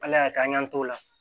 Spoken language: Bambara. Ala y'a kɛ an y'an t'o la